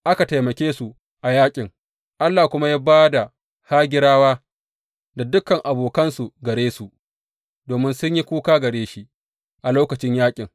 Aka taimake su a yaƙin, Allah kuma ya ba da Hagirawa da dukan abokansu gare su, domin sun yi kuka gare shi a lokacin yaƙin.